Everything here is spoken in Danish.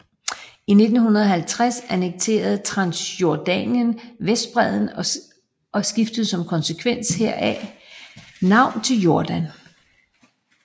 I 1950 annekterede Transjordanien Vestbredden og skiftede som konsekvens heraf navn til Jordan